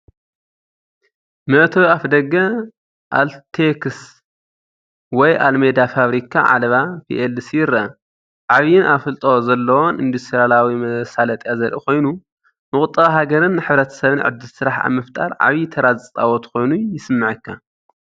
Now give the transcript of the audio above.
መእተዊ ኣፍደገ "ALTEX" ወይ ኣልሜዳ ፋብሪካ ዓለባ PLC ይርአ። ዓቢን ኣፍልጦ ዘለዎን ኢንዱስትርያዊ መሳለጥያ ዘርኢ ኮይኑ፡ ንቁጠባ ሃገርን ሕብረተሰብን ዕድል ስራሕ ኣብ ምፍጣር ዓቢይ ተራ ዝጻወት ኮይኑ ይስመዓካ፡፡